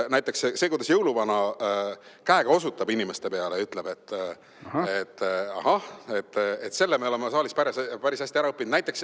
Näiteks selle, kuidas jõuluvana käega osutab inimeste peale, me oleme päris hästi ära õppinud.